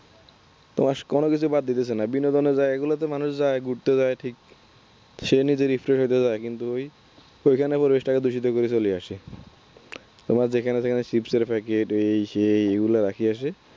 তোমার কোন কিছুই বাদ দিতেছে না বিনোদনের জায়গাগুলোতে মানুষ যায় ঘুরতে যায় ঠিক সে নিজে refresh হতে যাই কিন্তু ওই ওইখানে আবার পরিবেশটা দূষিত করে চলে আসে। তোমার যেখানে সেখানে Chips এর packet এই সেই এগুলা রাখিয়া আসে।